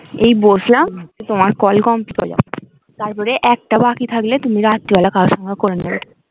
এই বসলাম তোমার call complete হল তারপরে একটা বাকি থাকলে তুমি রাত্রিবেলা কারোর সঙ্গে করে নেবে